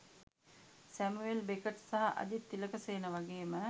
Samuel Beckett සහ අජිත් තිලකසේන වගේම